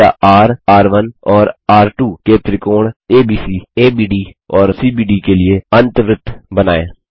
त्रिज्या र र1 और र2 के त्रिकोण एबीसी एबीडी और सीबीडी के लिए अन्तवृत्त बनाएँ